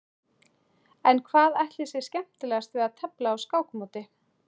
En hvað ætli sé skemmtilegast við að tefla á skákmóti?